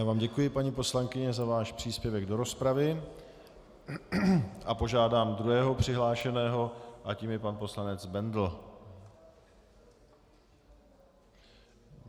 Já vám děkuji, paní poslankyně, za váš příspěvek do rozpravy a požádám druhého přihlášeného a tím je pan poslanec Bendl.